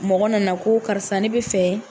Mɔgɔ nana ko karisa ne bi fɛ